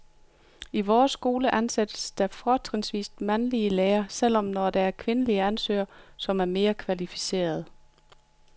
I vores skole ansættes der fortrinsvis mandlige lærere, selv når der er kvindelige ansøgere, som er mere kvalificerede.